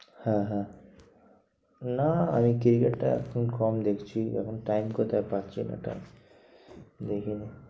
হ্যাঁ হ্যাঁ না, আমি cricket টা এখন কম দেখছি। এখন time কোথায় পাচ্ছি না। ওটা দেখিনি।